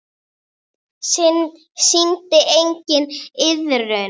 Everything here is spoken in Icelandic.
Sýndi enginn iðrun?